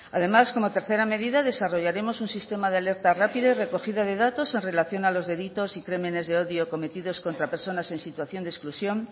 además como tercera medida desarrollaremos un sistema de alerta rápida y recogida de datos en relación a los delitos y los crímenes de odio cometidos contra personas en situación de exclusión